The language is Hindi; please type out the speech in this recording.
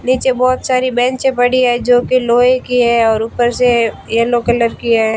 नीचे बहोत सारे बेचें पड़ी है जो की लोहे की है और ऊपर से येलो कलर की है।